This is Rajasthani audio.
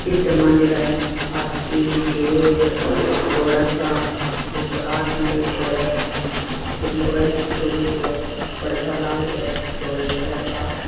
चित्र मंडेडा है हाथी शेर घोडा सा ऊपर आदमी बैठया है ऊपर लुगाई सी कोरेड़ी है पर्दा लाग रेया है धोले कलर का।